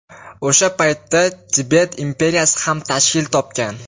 O‘sha paytda Tibet imperiyasi ham tashkil topgan.